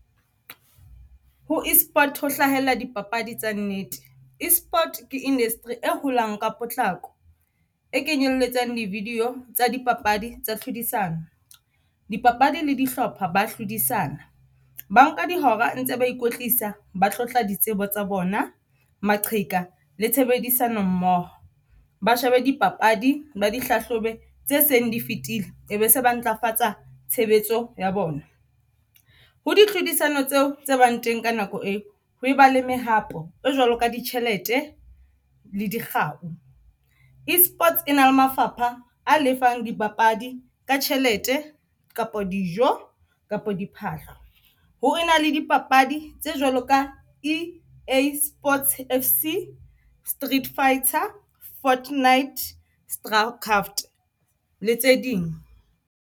Ho esport ho hlahella dipapadi tsa nnete, esport ke industry e holang ka potlako e kenyelletsang di video tsa di papadi tsa tlhodisano, dipapadi le dihlopha ba hlodisana ba nka dihora ntse ba ikwetlisa, ba tlotla ditsebo tsa bona, maqheka le tshebedisano mmoho ba shebe dipapadi ba di hlahlobe tse seng di fitile e be se ba ntlafatsa tshebetso ya bona. Ho ditlhodisano tseo tse bang teng ka nako eo, ho ba le mehapo e jwalo ka ditjhelete le dikgau. Esports e na le mafapha a lefang dipapadi ka tjhelete kapa dijo kapa diphahlo ho be na le dipapadi tse jwalo ka EA Sports FC, Street Fighter, Fortnite Starcraft le tse ding.